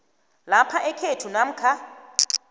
lapha ekhethu namkha